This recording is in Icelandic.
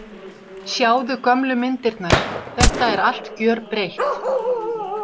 Sjáðu gömlu myndirnar, þetta er allt gjörbreytt.